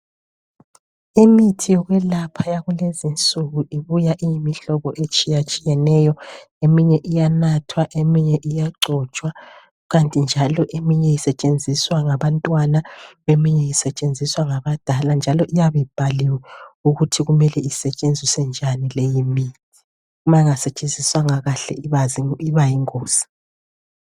Imithi yokwelapha yakulezinsuku, ibuya iyimihlobo etshiyatshiyeneyo eminye iyanathwa eminye iyagcotshwa. Kukanti njalo eminye isetshenziwa ngabantwana eminye isetshenziswa ngabadala njalo iyabe ibhaliwe ukuthi kumele isetshenziswe njani leyimithi. Ma inga isetshenziswanga kahle ibayingozi.